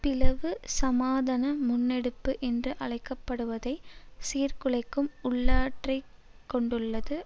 பிளவு சமாதன முன்னெடுப்பு என்று அழைக்க படுவதை சீர்குலைக்கும் உள்ளாற்றலைக் கொண்டுள்ளது